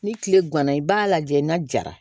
Ni tile ganna i b'a lajɛ n'a jara